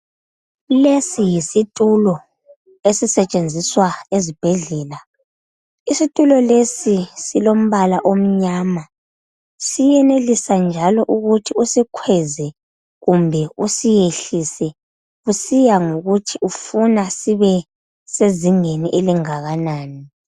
Lesi yisitulo esisetshenziswa ezibhedlela isitulo lesi silombala omnyama siyenelisa njalo ukuthi usikhweze kumbe usiyehlise kusiya ngokuthi ufuna sibe sezingeni elingakanani.